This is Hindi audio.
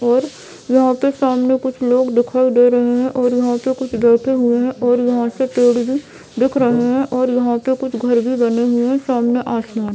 और यहा पर सामने कुछ लोग दिखाई दे रहे है और यहाँ पे कुछ बैठे हुए है और यहाँ से पेड़ भि दिख रहा है और यहाँ पे कुछ घर बी बने हुए है और सामने आसमान--